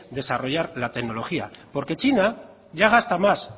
desarrollar la tecnología porque china ya gasta más